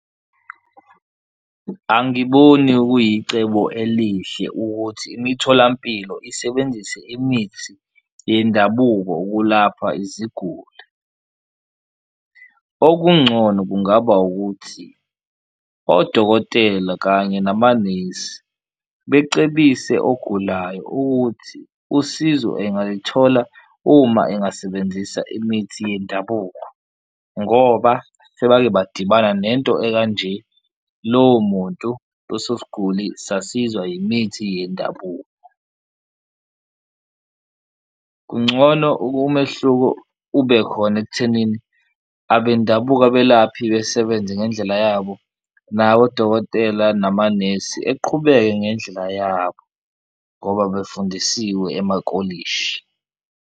Angiboni kuyicebo elihle ukuthi imitholampilo isebenzise imithi yendabuko ukulapha iziguli okuncono kungaba ukuthi odokotela kanye namanesi becebise ogulayo ukuthi usizo engalithola uma engasebenzisa imithi yendabuko, ngoba sebake badibana nento ekanje lowo muntu, loso sigulu sasizwa yimithi yendabuko. Kuncono umehluko ube khona ekuthenini abendabuko abelaphi besebenze ngendlela yabo, nabodokotela namanesi eqhubeke ngendlela yabo ngoba befundisiswe amakolishi.